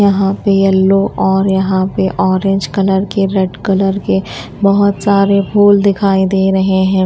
यहां पे येलो और यहां पे ऑरेंज कलर के रेड कलर के बहोत सारे फूल दिखाई दे रहे है।